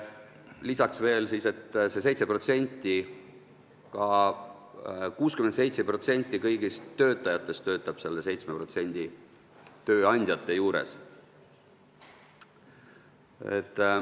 Lisaks veel see, et 67% kõigist töötajatest töötab nende 7% tööandjate juures.